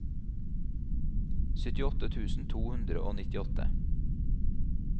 syttiåtte tusen to hundre og nittiåtte